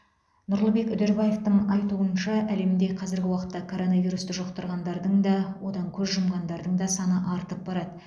нұрлыбек үдербаевтың айтуынша әлемде қазіргі уақытта коронавирусты жұқтырғандардың да одан көз жұмғандардың да саны артып барады